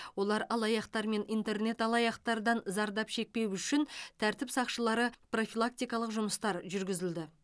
олар алаяқтар мен интернет алаяқтардан зардап шекпеу үшін тәртіп сақшылары профилактикалық жұмыстар жүргізілді